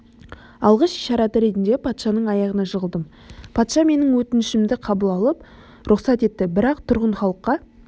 алғыс ишараты ретінде патшаның аяғына жығылдым патша менің өтінішімді қабыл алып рұқсат етті бірақ тұрғын халыққа